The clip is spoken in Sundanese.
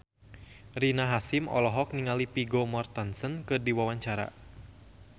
Rina Hasyim olohok ningali Vigo Mortensen keur diwawancara